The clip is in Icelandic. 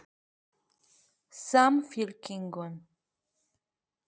Karen Kjartansdóttir: Og þetta hefur komið sér vel?